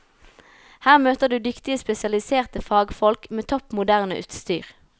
Her møter du dyktige spesialiserte fagfolk, med topp moderne utstyr.